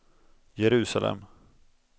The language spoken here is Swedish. Jerusalem